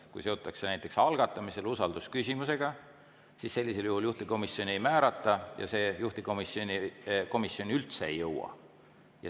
Kui usaldusküsimusega seotakse näiteks algatamisel, siis sellisel juhul juhtivkomisjoni ei määrata ja see komisjoni üldse ei jõua.